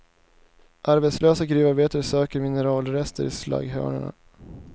Arbetslösa gruvarbetare söker mineralrester i slagghögarna.